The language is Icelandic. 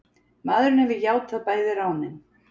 Maðurinn hefur játað bæði ránin.